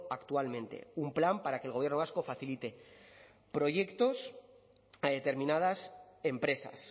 actualmente un plan para que el gobierno vasco facilite proyectos a determinadas empresas